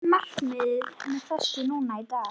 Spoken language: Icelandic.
Hvert er markmiðið með þessu núna í dag?